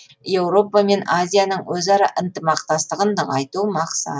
еуропа мен азияның өзара ынтымақтастығын нығайту мақсат